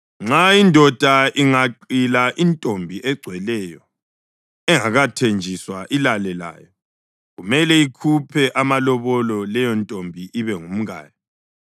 “Nxa indoda ingaqila intombi egcweleyo engakathenjiswa ilale layo, kumele ikhuphe amalobolo, leyontombi ibe ngumkayo.